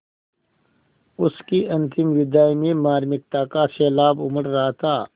उसकी अंतिम विदाई में मार्मिकता का सैलाब उमड़ रहा था